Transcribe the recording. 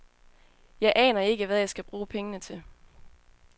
Jeg aner ikke, hvad jeg skal bruge pengene til.